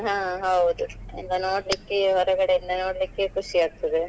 ಹಾ ಹೌದು ಈಗ ನೋಡ್ಲಿಕ್ಕೆ ಹೊರಗಡೆಯಿಂದ ನೋಡ್ಲಿಕೆ ಖುಷಿ ಆಗ್ತದೆ.